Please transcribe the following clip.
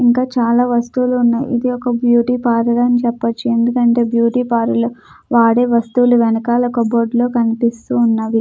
ఇంకా చాలా వస్తువులు ఉన్నాయి ఇది ఒక బ్యూటీ పార్లర్ అని చెప్పొచు ఎందుకంటే బ్యూటీ పార్లర్ లో వాడే వస్తువులు వెనకాల కప్ బోర్డు లో కనిపిస్తూ ఉన్నవి.